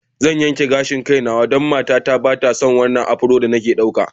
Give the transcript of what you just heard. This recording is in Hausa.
Zan yanke gashin kaina don matata ba ta son wannan afro da nake ɗauka.